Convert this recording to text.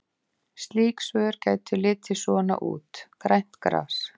Slík svör gætu litið svona út: Grænt gras.